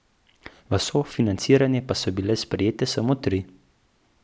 V sofinanciranje pa so bile sprejete samo tri.